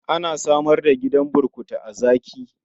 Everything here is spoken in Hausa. An samar da gidan burkutu a Zaki.